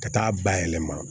Ka taa bayɛlɛma